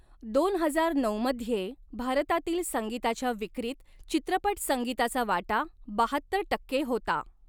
दोन हजार नऊमध्ये, भारतातील संगीताच्या विक्रीत, चित्रपट संगीताचा वाटा बहात्तर टक्के होता.